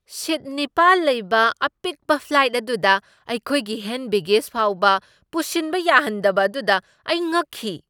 ꯁꯤꯠ ꯅꯤꯄꯥꯜ ꯂꯩꯕ ꯑꯄꯤꯛꯄ ꯐ꯭ꯂꯥꯏꯠ ꯑꯗꯨꯗ ꯑꯩꯈꯣꯏꯒꯤ ꯍꯦꯟ ꯕꯦꯒꯦꯖ ꯐꯥꯎꯕ ꯄꯨꯁꯤꯟꯕ ꯌꯥꯍꯟꯗꯕ ꯑꯗꯨꯗ ꯑꯩ ꯉꯛꯈꯤ ꯫